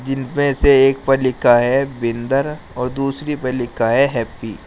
जिनपे से एक पर लिखा है बिन्दर और दूसरी पर लिखा है हैप्पी ।